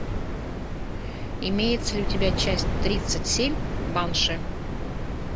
имеется ли у тебя часть тридцать семь банши